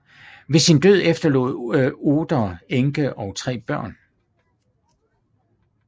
Ved sin død efterlod Oeder enke og tre børn